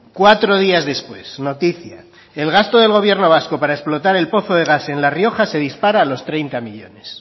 cuatro días después noticia el gasto del gobierno vasco para explotar el pozo de gas en la rioja se dispara a los treinta millónes